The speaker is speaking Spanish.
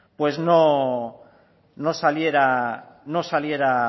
pues no saliera